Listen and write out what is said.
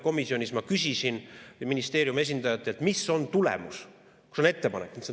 Komisjonis ma küsisin ministeeriumi esindajatelt, mis on tulemus, kus on ettepanek.